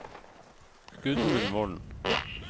Gudmund Volden